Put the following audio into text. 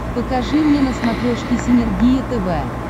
покажи мне на смотрешке синергия тв